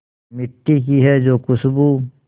मिट्टी की है जो खुशबू